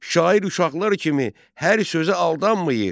Şair uşaqlar kimi hər sözə aldanmayır.